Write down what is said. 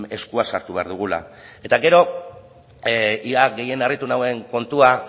eskua sartu behar dugula eta gero ia gehien harritu nauen kontua